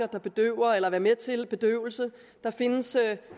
der bedøver eller er med til bedøvelse der findes